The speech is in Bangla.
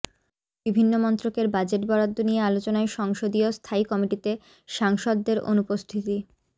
বিভিন্ন মন্ত্রকের বাজেট বরাদ্দ নিয়ে আলোচনায় সংসদীয় স্থায়ী কমিটিতে সাংসদদের অনুপস্থিতি